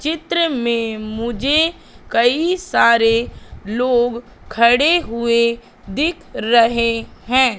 चित्र में मुझे कई सारे लोग खड़े हुए दिख रहे हैं।